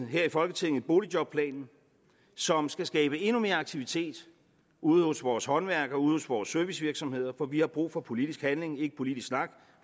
vi her i folketinget boligjobplanen som skal skabe endnu mere aktivitet ude hos vores håndværkere ude hos vores servicevirksomheder for vi har brug for politisk handling ikke politisk snak